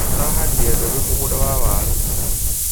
Alahandire mbebe mũgũnda wa waaru